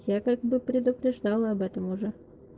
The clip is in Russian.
я как бы предупреждал об этом уже